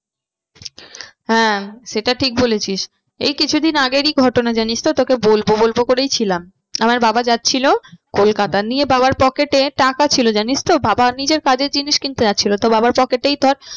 হ্যাঁ সেটা ঠিক বলেছিস। এই কিছু দিন আগেরই ঘটনা জানিস তো তোকে বলবো বলবো করেই ছিলাম। আমার বাবা যাচ্ছিলো কলকাতা নিয়ে বাবার pocket এ টাকা ছিল জানিস তো বাবা নিজের কাজের জিনিস কিনতে যাচ্ছিলো তো বাবার pocket এই ধর